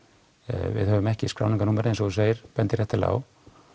við höfum ekki skráningarnúmerið eins og þú segir bendir réttilega á